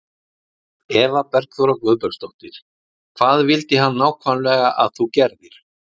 Eva Bergþóra Guðbergsdóttir: Hvað vildi hann nákvæmlega að þú gerðir?